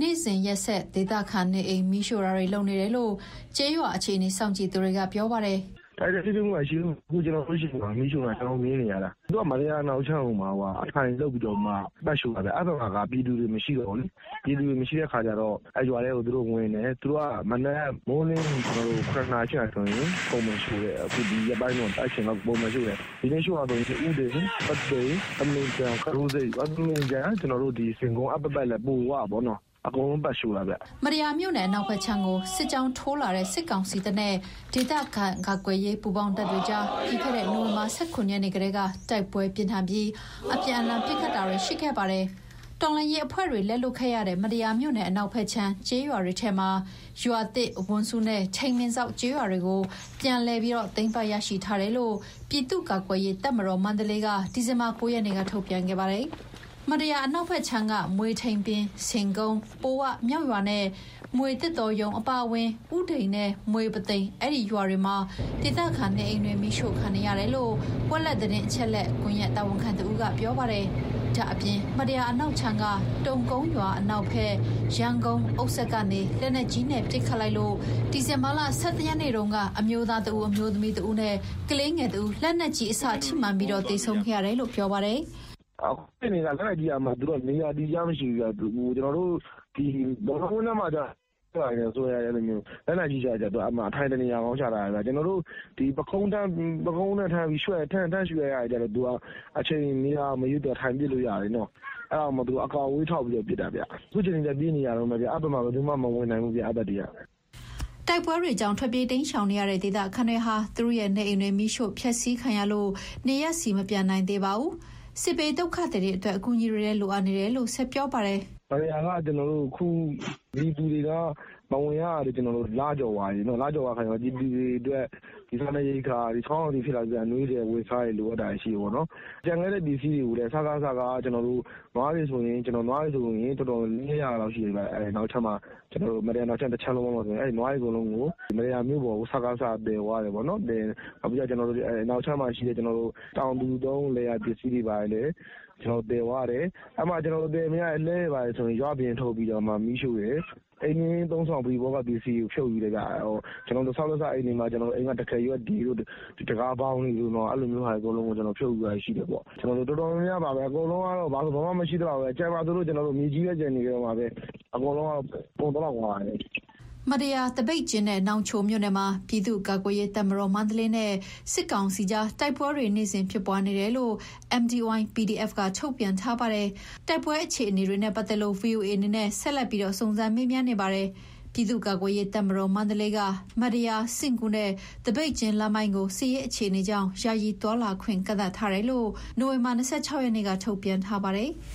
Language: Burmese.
နေ့စဉ်ရက်ဆက် ဒေသခံနေအိမ် မီးရှို့တာတွေ လုပ်နေတယ်လို့ ကျေးရွာအခြေအနေ စောင့်ကြည့်သူတွေက ပြောပါတယ်။ "တိုက်ပွဲထိတွေ့မှုက မရှိဘူး။ အခု ကျနော်တို့ဆီမှာ မီးရှို့နေတာ ကျနော်တို့ မြင်နေရတာ။ သူတို့က မတ္တရာအနောက်ခြမ်းကို အထိုင်လုပ်ပြီးတော့ ပတ်ရှို့တာဗျ။ အဲဘက်မှာက ပြည်သူတွေ မရှိတော့ဘူးလေ။ ပြည်သူတွေမရှိတဲ့ အခါကျတော့ အဲဒီရွာတွေထဲကို သူတို့ကဝင်တယ်။ မနက်မိုးလင်းပြီး ၇ နာရီ၊ ၈ နာရီလောက်ဆိုရင် ပုံမှန်ရှို့တယ်။ အခုဒီရက်ပိုင်းထဲ အဲအချိန်လောက် ပုံမှန်ရှို့တယ်။ ဒီနေ့ရှို့တာဆိုရင် ဥဒိန်၊ ပုသိမ်၊ သမင်ခြံ၊ အဲဒီပတ်ပတ်လည်တွေ အကုန်လုံးပတ်ရှို့တာဗျ။" မတ္တရာမြို့နယ် အနောက်ဘက်ခြမ်းကို စစ်ကြောင်းထိုးလာတဲ့ စစ်ကောင်စီတပ်နဲ့ ဒေသခံကာကွယ်ရေး ပူးပေါင်းတပ်တွေကြား ပြီးခဲ့တဲ့ နိုဝင်ဘာလ ၁၇ ရက်နေ့ကတည်းက တိုက်ပွဲပြင်းထန်ပြီး၊ အပြန်အလှန်ပစ်ခတ်တာတွေ ရှိခဲ့ပါတယ်။ တော်လှန်ရေးအဖွဲ့တွေ လက်လွတ်ခဲ့ရတဲ့ မတ္တရာမြို့နယ် အနောက်ဘက်ခြမ်း ကျေးရွာတွေထဲက ရွာသစ်၊ ဝန်စုနဲ့ ထိန်ပင်စောက်ကျေးရွာတွေကို ပြန်လည်ပြီးသိမ်းပိုက်ရရှိထားတယ်လို့ ပြည်သူ့ကာကွယ်ရေးတပ်မတော် (မန္တလေး) က ဒီဇင်ဘာလ ၉ ရက်နေ့က ထုတ်ပြန်ခဲ့ပါတယ်။ မတ္တရာအနောက်ခြမ်းက မွေထိန်ပင်၊ ဆင်ကုန်း၊ ပိုဝမြောက်ရွာနဲ့ မြွေသစ်တောရုံး အပါအဝင် ဥဒိန်နဲ့ မြွေပုသိမ် အဲဒီရွာတွေမှာ ဒေသခံနေအိမ်တွေ မီးရှို့ခံနေရတယ်လို့ ဝက်လက်သတင်းအချက်အလက် ကွန်ရက်တာဝန်ခံတဦးက ပြောပါတယ်။ ဒါ့အပြင် မတ္တရာအနောက်ခြမ်းက တုန်ကုန်းရွာ အနောက်ဘက် ယမ်းကုန်းအုတ်စက်ကနေ လက်နက်ကြီးနဲ့ ပစ်ခတ်လိုက်လို့ ဒီဇင်ဘာလ ၁၁ ရက်နေ့တုန်းက အမျိုးသား ၁ဦး၊ အမျိုးသမီး ၁ဦးနဲ့ ကလေးငယ် ၁ဦး လက်နက်ကြီးအစထိမှန်ပြီး သေဆုံးခဲ့တယ်လို့ ပြောပါတယ်။ "သူတို့ လက်နက်ကြီးပစ်တာက နေရာအတည်တကျ မရှိဘူးဗျ။ ဘောလုံးကွင်းထဲမှာကျတော့ လက်နက်ကြီးကျတော့ အထိုင်တနေရာကောင်း ချထားတယ်ဗျ။ ပုခုံးနဲ့ထမ်းပြီး ထမ်းရတဲ့ဟာတွေကျတော့ အချိန်နေရာမရွေး ထိုင်ပစ်လို့ရတယ်။ အဲဒါကိုမှ သူတို့က အကွာအဝေးထောက်ပြီးတော့ ပစ်တာဗျ။ ရွာခံတွေကတော့ အခုချိန်ထိလည်း ပြေးနေရတုန်းပဲ။ အဲဒီဘက်မှာ ဘယ်သူမှ မဝင်နိုင်ဘူးဗျ။" တိုက်ပွဲကြောင့် ထွက်ပြေးတိမ်းရှောင်နေရတဲ့ ဒေသခံတွေဟာ သူတို့ရဲ့နေအိမ်တွေ မီးရှို့ဖျက်စီးခံရလို့ နေရပ်ဆီ မပြန်နိုင်သေးပါဘူး။ စစ်ဘေးဒုက္ခသည်တွေအတွက် အကူအညီတွေလည်း လိုအပ်နေတယ်လို့ ဆက်ပြောပါတယ်။ "မတ္တရာက ပြည်သူတွေ ရွာထဲမဝင်ရတာလည်း လကျော်သွားပြီ။ ပြည်သူတွေအတွက် စားနပ်ရိက္ခာတွေ၊ ဆောင်းရာသီရောက်တော့ အနွေးထည်၊ အဝတ်အစားတွေ လိုအပ်တာရှိတာပေါ့။ ရွာထဲမှာကျန်ခဲ့တဲ့ ပစ္စည်းတွေကိုလည်း မတ္တရာအနောက်ခြမ်းမှာ နွားတွေ တော်တာ်များများကျန်တယ်။ အဲဒီ နွားတွေအကုန်လုံးကို မတ္တရာမြို့ပေါ်ကို စကစက သယ်သွားတယ်။ နောက်ပြီးတော့ အနောက်ခြမ်းမှာရှိတဲ့ တောင်သူသုံး လယ်ယာပစ္စည်းတွေကိုလည်း သယ်သွားတယ်။ အဲဒီမှာ သယ်မရတဲ့လှည်းတွေ ဘာတွေဆိုရင် ရွာအပြင်ထုတ်ပြီး မီးရှို့တယ်။ အိမ်နေရင်း ပရိဘောဂ အသုံးအဆောင်ပစ္စည်းတွေ ဖြုတ်ယူတယ်ဗျ။ ဆောက်လက်စအိမ်တွေက တံခါးရွက်တွေ၊ တံခါးဘောင်တွေကို ဖြုတ်ယူသွားတာရှိတယ်။ တော်တော်များများပါပဲ။ အကုန်လုံးက ဘာဆိုဘာမှ မရှိသလောက်ပဲ။ ကျန်မှာဆိုလို့ မြေကြီးပဲ ကျန်နေခဲ့မှာပဲ။ အကုန်လုံးက ကုန်သလောက်ပါပဲ။" မတ္တရာ၊ သပိတ်ကျင်းနဲ့ နောင်ချိုမြို့နယ်မှာ ပြည်သူ့ကာကွယ်ရေးတပ်မတော် (မန္တလေး) နဲ့ စစ်ကောင်စီကြား တိုက်ပွဲတွေနေ့စဉ် ဖြစ်ပွားနေတယ်လို့ MDY-PDF က ထုတ်ပြန်ထားပါတယ်။ တိုက်ပွဲအခြေအနေတွေနဲ့ ပတ်သက်လို့ ဗွီအိုအေအနေနဲ့ ဆက်လက်ပြီး စုံစမ်းမေးမြန်းနေပါတယ်။ ပြည်သူ့ကာကွယ်ရေးတပ်မတော် (မန္တလေး) က မတ္တရာ၊ စဉ့်ကူးနဲ့ သပိတ်ကျင်းလမ်းပိုင်းကို စစ်ရေးအခြေအနေကြောင့် ယာယီသွားလာခွင့် ကန့်သတ်ထားတယ်လို့ နိုဝင်ဘာလ ၂၆ ရက်နေ့က ထုတ်ပြန်ထားပါတယ်။